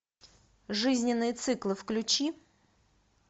жизненные циклы включи